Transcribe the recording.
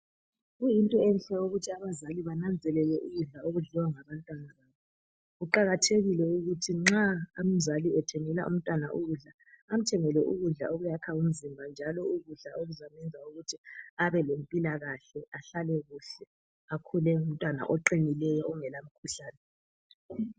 Kuyinto enhle ukuthi abazali bananzelele ukudla okudliwa ngabantwana babo. Kuqakathekile ukuthi nxa umzali ethengela umntwana ukudla .Amthengele ukudla okuyakha umzimba njalo ukudla okuzamyenza ukuthi abelempilakahle .Ahlale kuhle akhule engumntwana oqinileyo ongela mkhuhlane.